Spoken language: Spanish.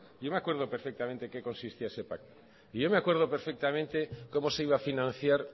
yo me acuerdo perfectamente en qué consistía ese pacto y yo me acuerdo perfectamente cómo se iba a financiar